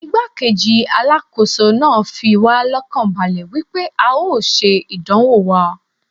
Igbá-kejì Alákóso náà fi wá lọ́kàn balẹ̀ wípé a ó ṣe ìdánwò wa.